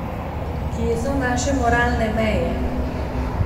Kje so naše moralne meje?